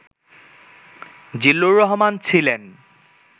জিল্লুর রহমান ছিলেন